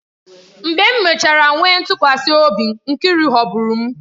Mgbe m mechara nwee ntụkwasị obi, Nkiru ghọgburu m